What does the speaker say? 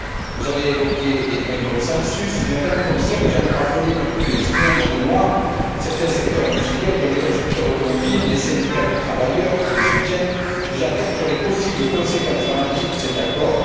Vous avez évoqué un consensus mais, Madame la Commissaire, je tiens à vous rappeler que, depuis un certain nombre de mois, certains secteurs industriels dont les constructeurs automobiles et les syndicats de travailleurs, qui les soutiennent vous alertent sur les possibles conséquences dramatiques de cet accord.